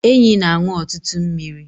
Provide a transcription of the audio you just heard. Enyí na-aṅụ ọtụtụ mmiri